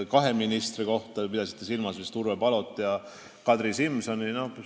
Te pidasite vist silmas Urve Palot ja Kadri Simsonit.